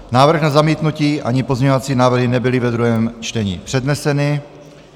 Návrh na zamítnutí ani pozměňovací návrhy nebyly ve druhém čtení předneseny.